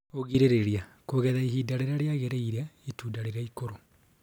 Ũgirĩrĩria : kũgetha ihinda rĩrĩa riagĩrĩire itunda rĩrĩ ikũrũ